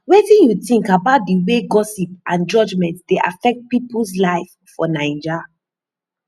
wetin you think about di way gossip and judgment dey affect peoples lives for naija